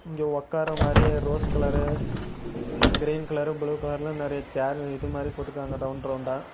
இங்க ஒக்கார மாரியே rose colour green colour blue கலர்ல நெறைய சேர் இது மாதிரி போட்டிருக்காங்க ரவுண்ட் ரவுண்டா .